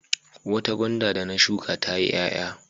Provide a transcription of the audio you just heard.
Wata gwanda da na shuka ya ti ƴaƴa.